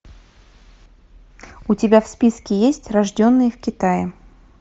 у тебя в списке есть рожденные в китае